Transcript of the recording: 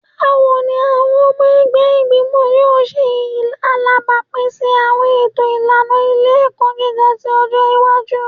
Bawo ni awọn ọmọ ẹgbẹ igbimọ yoo ṣe alabapin si awọn eto ilana ile-ẹkọ giga ti ọjọ iwaju?